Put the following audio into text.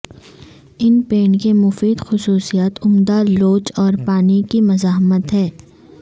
ان paint کے مفید خصوصیات عمدہ لوچ اور پانی کی مزاحمت ہیں